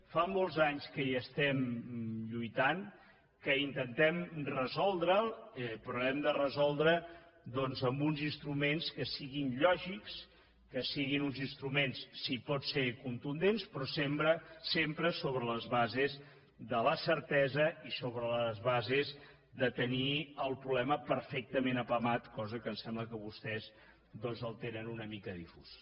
fa molts anys que hi lluitem que intentem resoldre’l però l’hem de resoldre amb uns instruments que siguin lògics que siguin uns instruments si pot ser contundents però sempre sobre les bases de la certesa i sobre les bases de tenir el problema perfectament apamat cosa que em sembla que vostès el tenen una mica difús